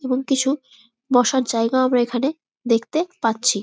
এবং কিছু বসার জায়গাও আমরা এখানে দেখতে পাচ্ছি।